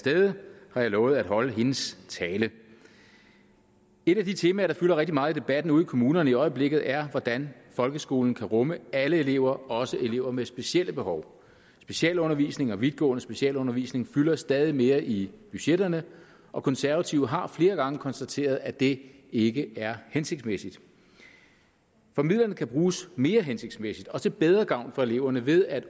stede har jeg lovet at holde hendes tale et af de temaer der fylder rigtig meget i debatten ude i kommunerne i øjeblikket er hvordan folkeskolen kan rumme alle elever også elever med specielle behov specialundervisning og vidtgående specialundervisning fylder stadig mere i budgetterne og konservative har flere gange konstateret at det ikke er hensigtsmæssigt for midlerne kan bruges mere hensigtsmæssigt og til bedre gavn for eleverne ved at